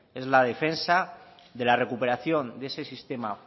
es la defensa de la recuperación de ese sistema